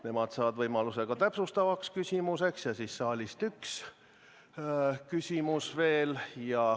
Nemad saavad võimaluse ka täpsustavaks küsimuseks ja siis võib saalist tulla üks küsimus veel.